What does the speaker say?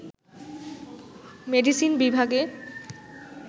medicine বিভাগে